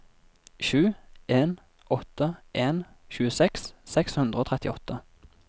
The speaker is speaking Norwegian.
sju en åtte en tjueseks seks hundre og trettiåtte